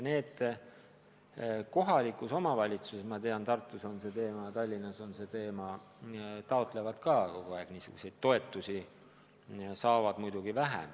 Need taotlevad kohalikult omavalitsuselt – ma tean, et Tartus on see teema ja Tallinnas on see teema – kogu aeg toetusi, aga saavad muidugi vähe.